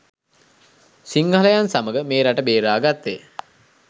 සිංහලයන් සමග මේ රට බේරාගත්තේ.